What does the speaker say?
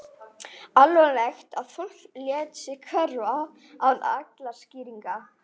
Alvanalegt að fólk léti sig hverfa án allra skýringa.